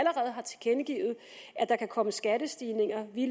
der kan komme skattestigninger i